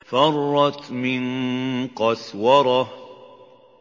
فَرَّتْ مِن قَسْوَرَةٍ